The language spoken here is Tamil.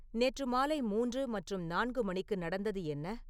நேற்று மாலை மூன்று மற்றும் நான்கு மணிக்கு நடந்தது என்ன